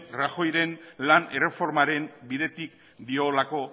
rajoy ren lan erreformaren bidetik diolako